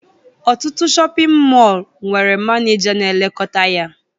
Ọtụtụ shọpịn mọọ nwere maneja na-elekọta ya